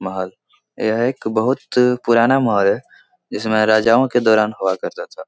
महल यह एक बहुत पुराना महल है जिसमें राजाओं के दौरान हुआ करता था।